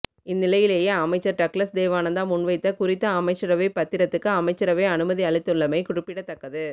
இந்நிலையிலேயே அமைச்சர் டக்ளஸ் தேவானந்தா முன்வைத்த குறித்த அமைச்சரவை பத்திரத்துக்கு அமைச்சரவை அனுமதி அளித்துள்ளமை குறிப்பிடத்தக்கது